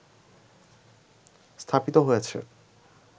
স্থাপিত হয়েছে